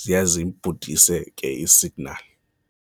ziye ziyibhudise ke isignali.